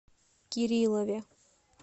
кириллове